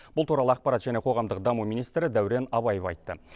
бұл туралы ақпарат және қоғамдық даму министрі дәурен абаев айтты